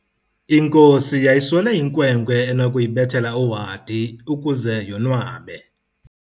Inkosi yayiswele inkwenkwe enokuyibethela uhadi ukuze yonwabe.